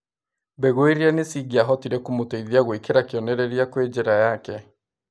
Mbegũ iria nĩcingĩahotire kũmũteithia gwĩkĩra kĩonereria kwĩ njĩra yake.